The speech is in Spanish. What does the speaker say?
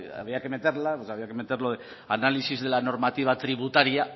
había que meter análisis de la normativa tributaria